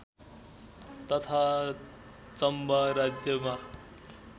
तथा चम्बा राज्यमा